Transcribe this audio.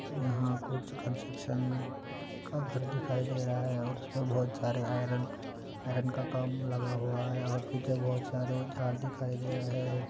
यहाँ कुछ कंस्ट्रक्शन का घर दिखाई दे रहा है और बोहोत सारे आयरन का काम लगा हुआ है और पीछे बहुत सारे झाड़ दिखाई दे रहे है|